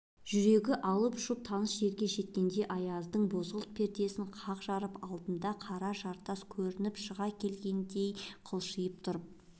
жүрегі алып-ұшып таныс жерге жеткенде аяздың бозғылт пердесін қақ жарып алдынан қара жартас өсіп шыға келгендей қалшиып тұрып